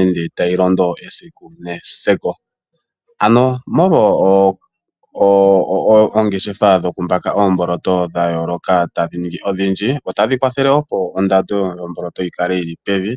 ende tashi londo esiku nesiku. Ano molwa oongeshefa dhokumbaka oomboloto dha yooloka tadhi ningi odhindji otadhi kwafele opo ondando yomboloto yikale yili pevi.